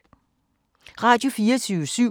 Radio24syv